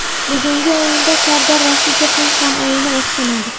Bugungi o‘yinda Sardor Rashidovning ham o‘yini o‘xshamadi.